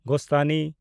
ᱜᱳᱥᱛᱷᱟᱱᱤ